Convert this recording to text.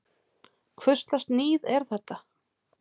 Hvurslags níð er þetta!